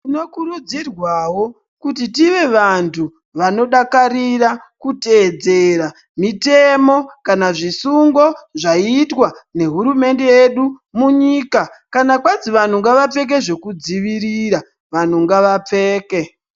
Tino kurudzirwawo kuti tive vantu vanodakarira kuteedzera mutemo kana zvisungo ,zvaiitwa nehurumende hedu munyika kana kweidzi vanhu ngavapfeke zvekudzivirira vanhu ngavapfeke .